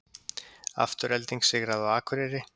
Afturelding sigraði á Akureyri